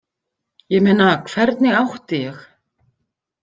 Ég meina, hvernig átti ég.?